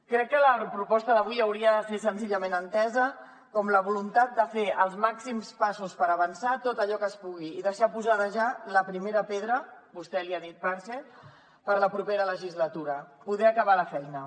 crec que la proposta d’avui hauria de ser senzillament entesa com la voluntat de fer els màxims passos per avançar tot allò que es pugui i deixar posada ja la primera pedra vostè n’ha dit pegat per a la propera legislatura poder acabar la feina